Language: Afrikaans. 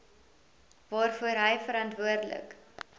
waarvoor hy verantwoordelik